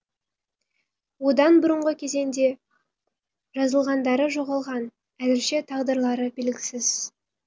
одан бұрынғы кезеңде жазылғандары жоғалған әзірше тағдырлары белгісіз